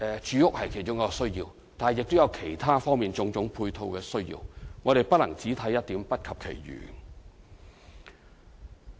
住屋是其中一個需要，但亦有其他方面及種種配套的需要，我們不能只看一點，不及其餘。